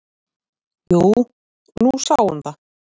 """Jú, nú sá hún það."""